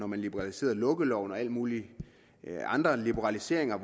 man liberaliserede lukkeloven og lavede alle mulige andre liberaliseringer